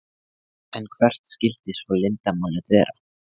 En hvert skyldi svo leyndarmálið vera?